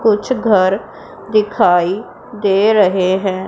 कुछ घर दिखाई दे रहें हैं।